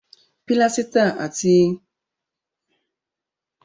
Pílásítà ti Páríìsì ni a lò nígbà gbogbo fún àwọn moldings ọ̀ṣọ́.